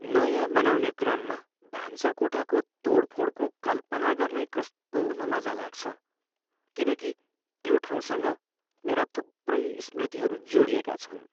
नयाँ बनाउने क्रममा भान्साकोठाको तोडफोडको कल्पना गर्नै कस्तो नमजा लाग्छ, किनकि त्यो ठाउँसँग मेरा थुप्रै स्मृतिहरू जोडिएका छन्।